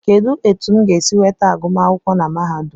Kedụ etu m ga-esi nweta agụmakwụkwọ na mahadum